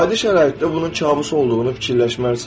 Adi şəraitdə bunun kabus olduğunu fikirləşməzsən.